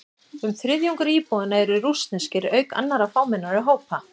Um þriðjungur íbúanna eru rússneskir, auk annarra fámennari hópa.